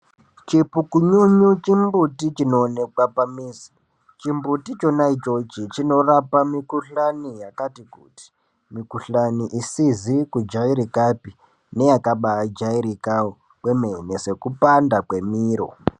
Chipukununu chimbuti chinoonekwa pamizi, chimbuti chona ichochi chinorapa mikuhlani yakati kuti. Mikuhlani isizi kujairikapi neyakabajairikawo kwemene sekupanda kwemiro.